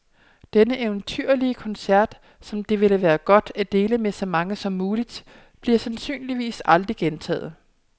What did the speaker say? Denne eventyrlige koncert, som det ville være godt at dele med så mange som muligt, bliver sandsynligvis aldrig gentaget.